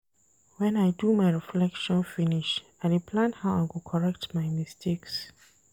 Wen I do my reflection finish, I dey plan how I go correct my mistakes.